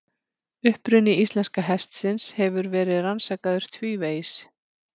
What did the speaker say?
Uppruni íslenska hestsins hefur verið rannsakaður tvívegis.